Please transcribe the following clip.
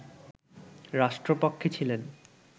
রাষ্ট্রপক্ষে ছিলেন